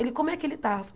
Ele, como é que ele está?